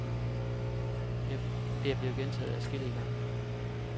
Det er blevet gentaget adskillige gange.